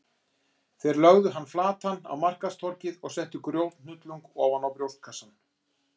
Þeir lögðu hann flatan á markaðstorgið og settu grjóthnullung ofan á brjóstkassann.